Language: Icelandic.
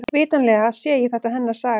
Vitanlega sé þetta hennar saga.